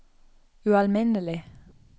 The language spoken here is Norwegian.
ualminnelig